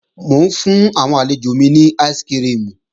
Mò ń fún àwọn àlejò mi ní áìsikirimù